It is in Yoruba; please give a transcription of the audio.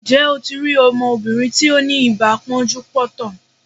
Ǹjẹ́ o ti rí ọmọbìnrin tí ó ni ibà pọ́njú-pọ́ntọ̀?